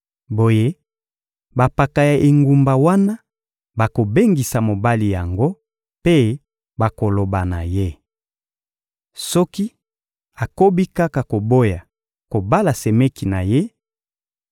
Boye, bampaka ya engumba wana bakobengisa mobali yango mpe bakoloba na ye. Soki akobi kaka koboya kobala semeki na ye,